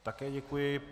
Také děkuji.